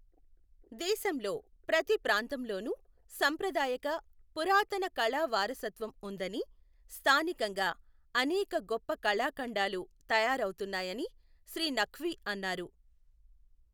దేశంలో ప్రతి ప్రాంతంలోను సంప్రదాయక, పురాతన కళా వారసత్వం వుందని, స్థానికంగా అనేక గొప్ప కళాఖండాలు తయారవుతున్నాయని శ్రీ నఖ్వి అన్నారు.